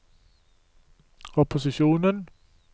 opposisjonen